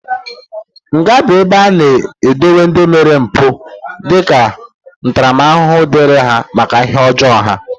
Nga bụ ebe a na-edowe ndị mere mpụ dika ntaramahụhụ dịrị ha maka ihe ọjọọ ha